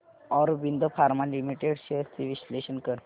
Aurobindo pharma limited shares चे विश्लेषण कर